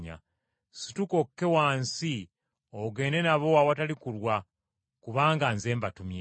Situka okke wansi ogende nabo awatali kulwa kubanga nze mbatumye.”